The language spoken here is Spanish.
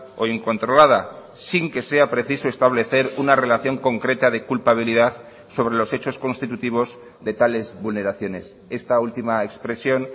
o incontrolada sin que sea preciso establecer una relación concreta de culpabilidad sobre los hechos constitutivos de tales vulneraciones esta última expresión